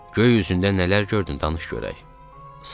Göy üzündə nələr gördün, danış görək.